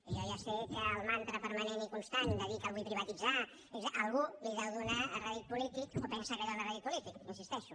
i jo ja sé que el mantra permanent i constant de dir que el vull privatitzar a algú li deu donar rèdit polític o pensa que li dóna rèdit polític hi insisteixo